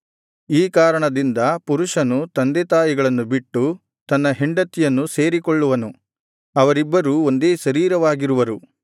ಈ ಕಾರಣದಿಂದ ಪುರುಷನು ತಂದೆತಾಯಿಗಳನ್ನು ಬಿಟ್ಟು ತನ್ನ ಹೆಂಡತಿಯನ್ನು ಸೇರಿಕೊಳ್ಳುವನು ಅವರಿಬ್ಬರು ಒಂದೇ ಶರೀರವಾಗಿರುವರು